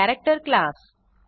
character class